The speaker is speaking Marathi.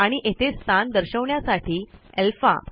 आणि येथे स्थान दर्शवण्यासाठी अल्फा